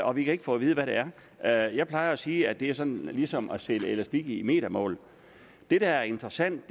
og vi kan ikke få at vide hvad det er er jeg plejer at sige at det er sådan ligesom at sælge elastik i metermål det der er interessant